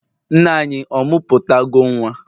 nne-anyi, ọ muputago Nwa?